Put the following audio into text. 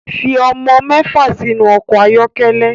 Fi ọmọ mẹfa sinu ọkọ ayọkẹlẹ